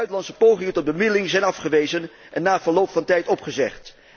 Buitenlandse pogingen tot bemiddeling zijn afgewezen en na verloop van tijd opgezegd.